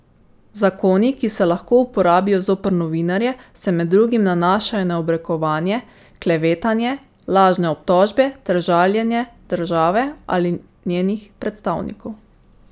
Zakoni, ki se lahko uporabijo zoper novinarje, se med drugim nanašajo na obrekovanje, klevetanje, lažne obtožbe ter žaljenje države ali njenih predstavnikov.